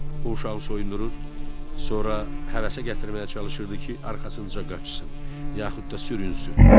O uşağı soyundurur, sonra həvəsə gətirməyə çalışırdı ki, arxasınca qaçsın, yaxud da sürünssün.